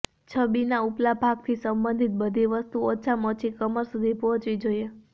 છબીના ઉપલા ભાગથી સંબંધિત બધી વસ્તુઓ ઓછામાં ઓછી કમર સુધી પહોંચવી જોઈએ